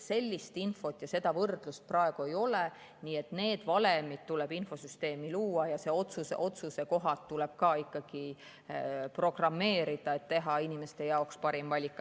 Sellist infot ja seda võrdlust praegu ei ole, nii et need valemid tuleb infosüsteemi luua ja otsusekohad tuleb ka programmeerida, et saaks teha inimese jaoks parima valiku.